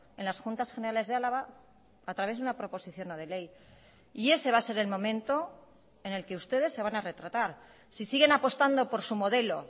en las juntas generales de álava a través de una proposición no de ley y ese va a ser el momento en el que ustedes se van a retratar si siguen apostando por su modelo